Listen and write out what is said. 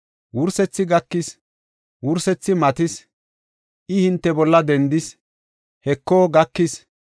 Wursethi gakis; wursethi matis; I hinte bolla dendis; Heko, gakis.